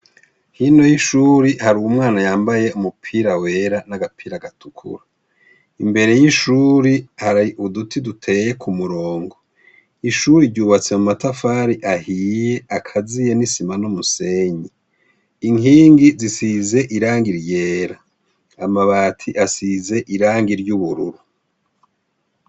Hino yishure hari umwana wambaye umupira wera nagapira gatukura imbere yishure hari uduti duteye kumurongo ishure yubatse mu matafari ahiye akaziye nosima numusenyi inkingi zosize irangi ryera amabati asize irangi ryubururu